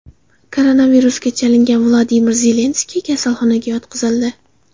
Koronavirusga chalingan Vladimir Zelenskiy kasalxonaga yotqizildi.